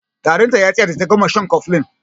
Tarin ta ya tsaya da ta gama shan cofflin.